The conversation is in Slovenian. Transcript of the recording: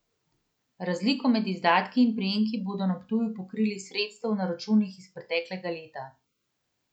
Razliko med izdatki in prejemki bodo na Ptuju pokrili iz sredstev na računih iz preteklega leta.